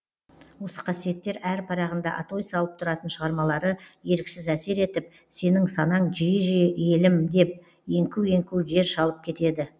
осы қасиеттер әр парағында атой салып тұратын шығармалары еріксіз әсер етіп сенің санаң жиі жиі елім деп еңку еңку жер шалып кетеді